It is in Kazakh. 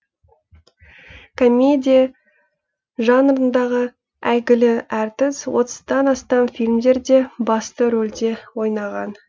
комедия жанрындағы әйгілі әртіс отыздан астам фильмдерде басты рөлде ойнаған